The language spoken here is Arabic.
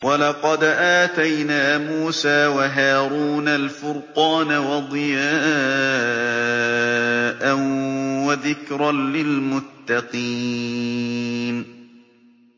وَلَقَدْ آتَيْنَا مُوسَىٰ وَهَارُونَ الْفُرْقَانَ وَضِيَاءً وَذِكْرًا لِّلْمُتَّقِينَ